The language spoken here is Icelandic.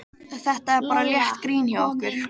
Þetta er bara létt grín hjá okkur.